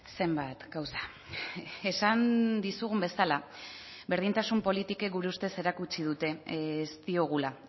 zenbat gauza esan dizugun bezala berdintasun politikek gure ustez erakutsi dute ez diogula